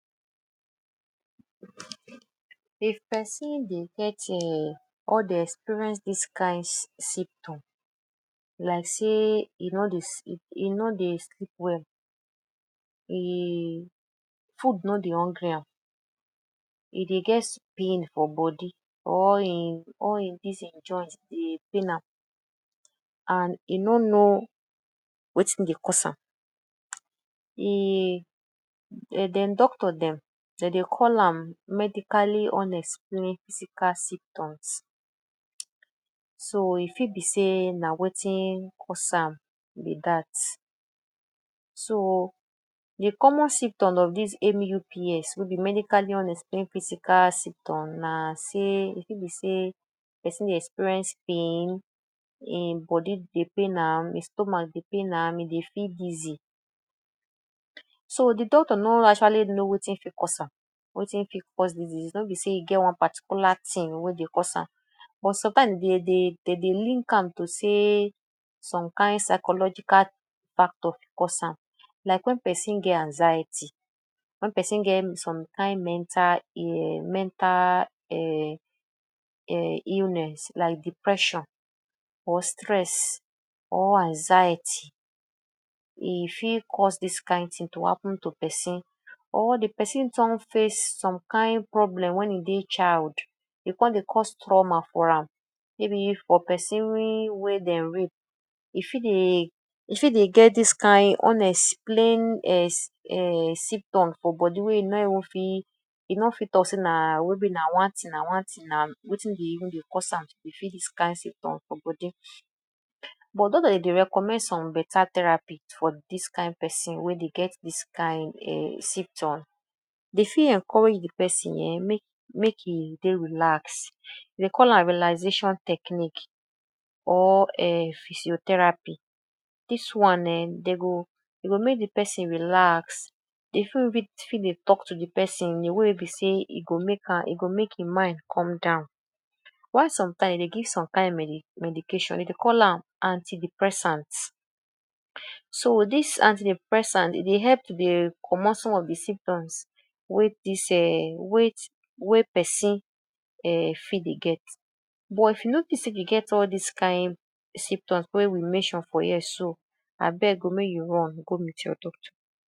If pesin dey get um or dey experience dis kind symptom like say e no dey sleep, e no dey sleep well, e food no dey hungry am, e dey get pain for body all e dis e join dey pain am and e no know wetin dey cause am im um dem doctor dem, de dey call am medically unexplained physical symptoms. So, e fit be say na wetin cause am be dat. So, de common symptom of dis MUPs wey be medically unexplained physical symptom na say e fit be say, pesin dey experience pain, e body dey pain am, e stomach dey pain am, e dey feel dizzy. So, de doctor no actually no wetin fit cause am, wetin fit cause dis disease, no be say e get one particular tin wey dey cause am but sometimes de dey de dey link am to say some kind psychological factor fit cause am, like wey pesin get anxiety, wen pesin get some kind mental um illness, like depression or stress or anxiety, e fit cause dis kind tin to happen to pesin or de pesin don face some kind problem wen e dey child, e come dey cause trauma for am, maybe for pesin wey dem rape, e fit dey get dis kind unexplained um symptom for body wey e no even fit e no fit talk say maybe na one tin, na one tin, na wetin dey even dey cause am, e fit be dis kind symptom for body but doctor dey recommend some beta therapy for dis kind pein wey dey get dis kind um symptom. Dem fit encourage de pesin um mek e dey relax, dem call am relaxation technique or um physiotherapy. Dis one um dem go, e go mek de pesin relax, e fit even fit dey talk to de pesin in a way be say, e go mek am e go make im mind come down, while sometime de give some kind medication dem dey call am antidepressant. So, dis antidepressant, e dey help to dey commot some of de symptom wey dis um wey pesin um fit dey get, but if you notice say you dey get all dis kind symptom wey we mention for here, so, abeg o, mek you run, go meet your doctor.